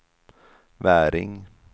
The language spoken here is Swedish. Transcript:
Väring